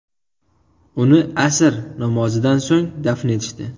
Uni asr namozidan so‘ng dafn etishdi.